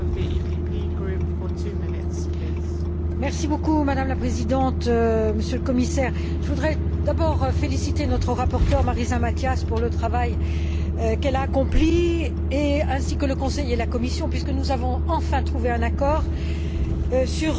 Madame la Présidente, Monsieur le Commissaire, je voudrais d'abord féliciter notre rapporteure, Marisa Matias, pour le travail qu'elle a accompli, ainsi que le Conseil et la Commission, puisque nous avons enfin trouvé un accord sur cette directive particulièrement importante qui porte